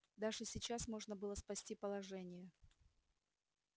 даже сейчас можно было спасти положение